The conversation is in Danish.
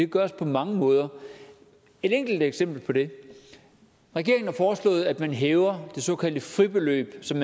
gøres på mange måder et enkelt eksempel på det regeringen har foreslået at man hæver det såkaldte fribeløb som